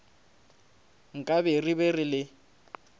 nkabe re be re le